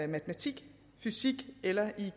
matematik fysik eller